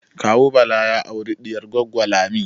Kawu Bala ya aure diyar Goggo Lami